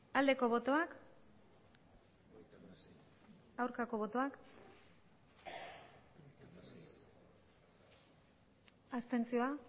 aldeko botoak aurkako botoak abstentzioa